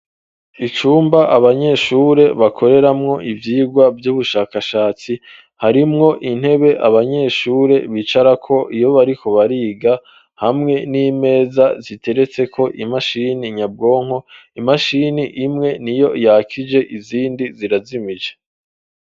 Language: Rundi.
Icumba, abanyeshure bakoreramwo, ivyigwa vy'ubushakashatsi; harimwo intebe, abanyeshure bicarako, iyo bariko bariga, hamwe n'imeza, ziteretseko imashini nyabwonko; imashini imwe niyo yakije, izindi zirazimije.